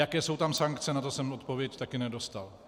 Jaké jsou tam sankce, na to jsem odpověď také nedostal.